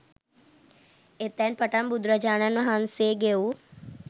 එතැන් පටන් බුදුරජාණන් වහන්සේ ගෙවූ